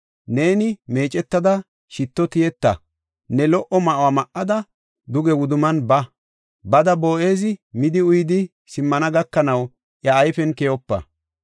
Neeni meecetada shitto tiyeta; ne lo77o ma7uwa ma7ada, duge wudumman ba; Bada Boo7ezi midi uyidi simmana gakanaw iya ayfen keyopa.